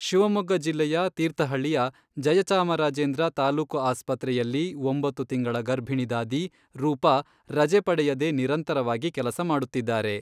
ಶಿವಮೊಗ್ಗ ಜಿಲ್ಲೆಯ ತೀರ್ಥಹಳ್ಳಿಯ ಜಯಚಾಮರಾಜೇಂದ್ರ ತಾಲೂಕು ಆಸ್ಪತ್ರೆಯಲ್ಲಿ ಒಂಬತ್ತು ತಿಂಗಳ ಗರ್ಭಿಣಿ ದಾದಿ ರೂಪಾ ರಜೆ ಪಡೆಯದೇ ನಿರಂತರವಾಗಿ ಕೆಲಸ ಮಾಡುತ್ತಿದ್ದಾರೆ.